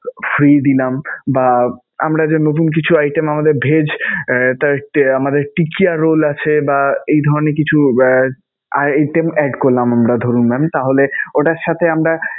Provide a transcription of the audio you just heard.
free দিলাম বা আমরা যে নতুন কিছু item আমাদের vegg আহ আমাদের টিকিয়া রোল আছে বা এই ধরণের কিছু আহ item add করলাম আমরা ধরুন mam. তাহলে ওটার সাথে আমরা